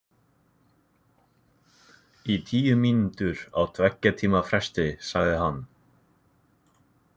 Í tíu mínútur á tveggja tíma fresti, sagði hann.